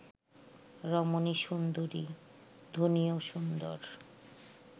রমণী সুন্দরী; ধ্বনিও সুন্দর